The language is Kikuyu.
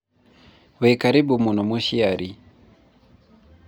wĩkarĩbũ mũno mũciari